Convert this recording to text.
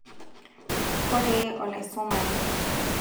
koree olaisumani